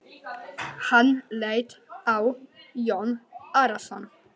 Hann leit á Jón Arason.